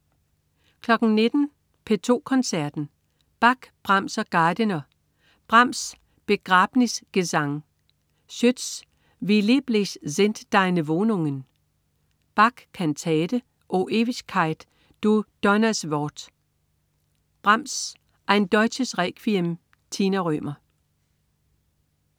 19.00 P2 Koncerten. Bach, Brahms og Gardiner. Brahms: Begrabnisgesang. Schütz: Wie lieblich sind deine Wohnungen. Bach: Kantate, O Ewigkeit, du Donneerwort. Brahms: Ein Deutsches Requiem. Tina Rømer